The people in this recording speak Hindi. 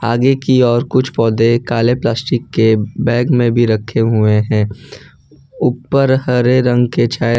आगे की ओर कुछ पौधे काले प्लास्टिक के बैग में भी रखें हुए हैं ऊपर हरे रंग के छाये--